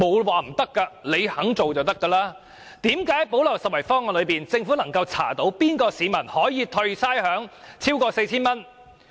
為何政府可從"補漏拾遺"方案查出哪名市民可獲差餉寬免超過 4,000 元？